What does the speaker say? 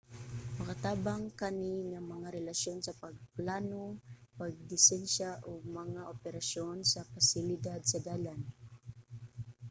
makatabang kani nga mga relasyon sa pagplano pagdisenyo ug mga operasyon sa mga pasilidad sa dalan